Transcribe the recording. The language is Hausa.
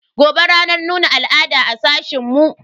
Gobe ranar nuna al'ada a sashen mu.